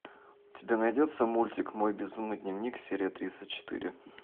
у тебя найдется мультик мой безумный дневник серия тридцать четыре